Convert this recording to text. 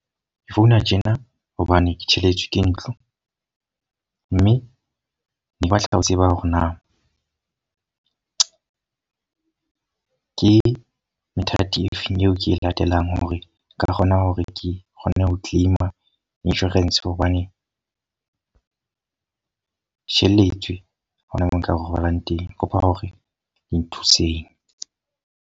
Ke founa tjena hobane ke tjhelete ke ntlo. Mme ne batla ho tseba hore na ke methati e feng eo ke e latelang hore nka kgona hore ke kgone ho claim insurance. Hobane ke tjhelletswe ha hona moo nka re robalang teng. Kopa hore le nthuseng.